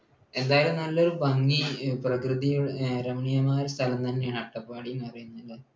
എന്തായാലും നല്ലൊരു ഭംഗി പ്രകൃതിരമണീയമായ സ്ഥലം തന്നെയാണ് അട്ടപ്പാടി എന്ന് പറയുന്നത് അല്ലെ?